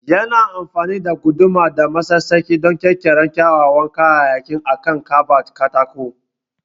Yana amfani da guduma da masassaki don ƙirƙirar kyawawan kayayyaki akan kabad katako